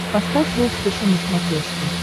поставь волд фэшен на смотрешке